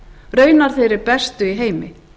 raunar þeirri bestu í heimi